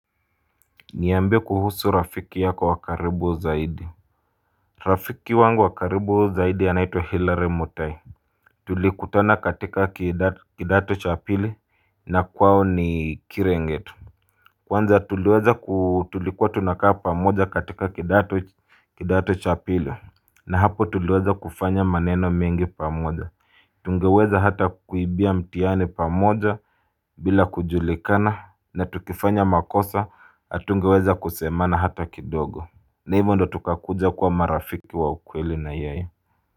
Niaambie kuhusu rafiki yako wakaribu zaidi Rafiki wangu wakaribu zaidi anaitwa hillary mutai Tulikutana katika kidato cha pili na kwao ni kirenget Kwanza tuliweza kutulikua tunakaa pamoja katika kidato cha pili na hapo tuliweza kufanya maneno mengi pamoja Tungeweza hata kuibia mthiani pamoja bila kujulikana na tukifanya makosa hatungeweza kusemana hata kidogo na hivyo ndo tukakuja kwa marafiki wa ukweli na ye ye.